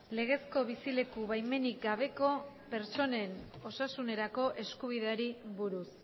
legezko bizileku baimenik gabeko pertsonen osasunerako eskubideari buruz